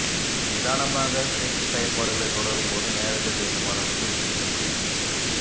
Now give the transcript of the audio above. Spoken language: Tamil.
நிதானமாக செக்ஸ் செயல்பாடுகளைத் தொடரும்போது நேரத்தை வேண்டும் அளவுக்கு நீட்டிக்க முடியும்